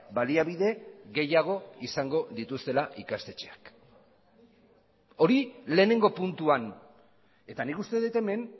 baliabide gehiago izango dituztela ikastetxeak hori lehenengo puntuan eta nik uste dut hemen